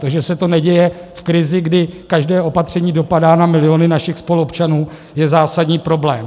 To, že se to neděje v krizi, kdy každé opatření dopadá na miliony našich spoluobčanů, je zásadní problém.